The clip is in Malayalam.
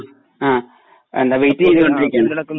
അ ആ വെയിറ്റ് ചെയ്തോണ്ടിരിക്കുവാണ്.